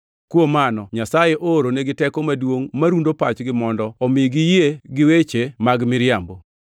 Kuom mano Nyasaye ooronigi teko maduongʼ marundo pachgi mondo omi giyie gi weche mag miriambo,